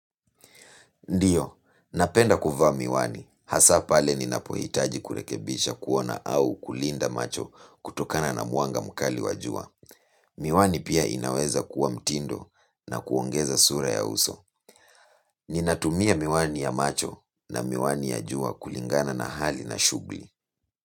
Ndiyo, napenda kuvaa miwani. Hasa pale ninapohitaji kurekebisha kuona au kulinda macho kutokana na mwanga mkali wa jua. Miwani pia inaweza kuwa mtindo na kuongeza sura ya uso. Ninatumia miwani ya macho na miwani ya jua kulingana na hali na shughuli.